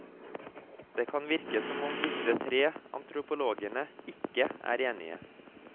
Det kan virke som om disse tre antropologene ikke er enige.